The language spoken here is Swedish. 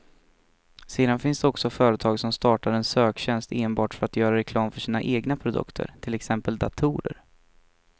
Sedan finns det också företag som startar en söktjänst enbart för att göra reklam för sina egna produkter, till exempel datorer.